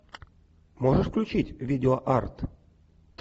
можешь включить видеоарт